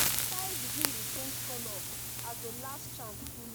sky begin dey change colour as the last chant finish